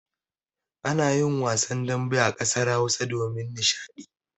Ana yin wasan dambe a ƙasar Hausa domin nishaɗi.